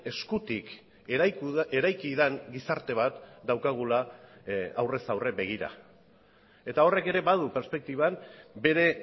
eskutik eraiki den gizarte bat daukagula aurrez aurre begira eta horrek ere badu perspektiban bere